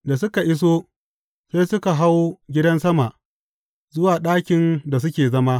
Da suka iso, sai suka hau gidan sama, zuwa ɗakin da suke zama.